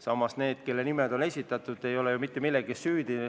Samas need, kelle nimed on esitatud, ei ole ju mitte milleski süüdi.